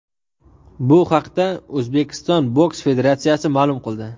Bu haqda O‘zbekiston boks federatsiyasi ma’lum qildi.